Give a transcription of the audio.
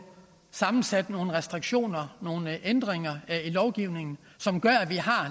sammensat nogle restriktioner og nogle ændringer af lovgivningen som gør at vi har